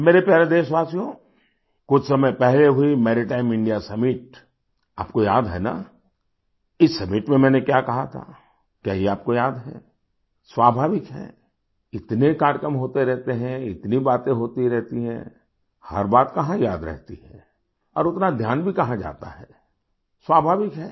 मेरे प्यारे देशवासियो कुछ समय पहले हुई मैरीटाइम इंडिया सम्मित आपको याद है ना इस सम्मित में मैंने क्या कहा था क्या ये आपको याद है स्वाभाविक है इतने कार्यक्रम होते रहते हैं इतनी बातें होती रहती हैं हर बात कहाँ याद रहती हैं और उतना ध्यान भी कहाँ जाता है स्वाभाविक है